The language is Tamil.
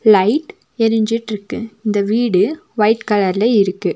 லைட் எரிஞ்சிட்ருக்கு இந்த வீடு ஒய்ட் கலர்ல இருக்கு.